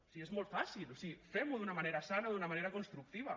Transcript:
si és molt fàcil o sigui fem ho d’una manera sana d’una manera constructiva